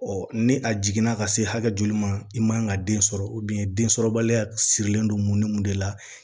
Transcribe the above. ni a jiginna ka se hakɛ joli ma i man ka den sɔrɔ densɔrɔbaliya sirilen don mun ni mun de la